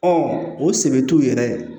Ɔ o seb'u yɛrɛ ye